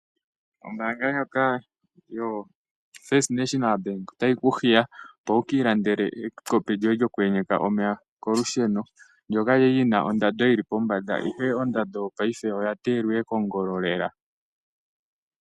Ombaanga ndjoka yotango yopashigwana otayi kuhiya opo wuki ilandele ekopi lyoye lyoku ye nyeka omeya kolusheno, ndyoka lyili lyina ondando yili pombanda ihe paife ondando oya teelwa kongolo lela.